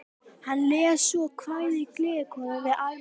Hann les svo kvæðið Gleðikonan við almenna hrifningu fundarmanna.